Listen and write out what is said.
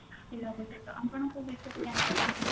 ଆପଣ କୋଉ ବିଷୟରେ ଜାଣିବାକୁ ଚାହୁଁଛନ୍ତି